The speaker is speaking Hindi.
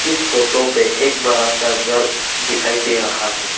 इस फोटो पर एक बड़ा सा घर दिखाई दे रहा है।